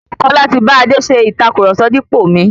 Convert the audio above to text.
Kọ́lá ti bá Adé ṣe ìtàkurọ̀sọ dípò mi.